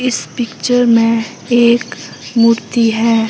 इस पिक्चर में एक मूर्ति है।